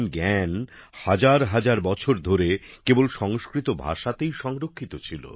জ্ঞান হাজার হাজার বছর ধরে কেবল সংস্কৃত ভাষাতেই সংরক্ষিত ছিল